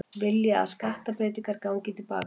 Vilja að skattabreytingar gangi til baka